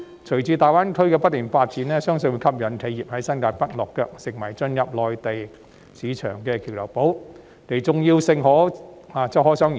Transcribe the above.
隨着大灣區不斷發展，相信會吸引企業在新界北落腳，令新界北成為進入內地市場的橋頭堡，重要性可想而知。